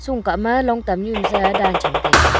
sung ka ma long tam nu se dan cham taiga.